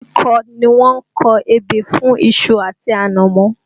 Kíkọ ni wọ́n kọ ebè fún iṣu àti ànàmọ́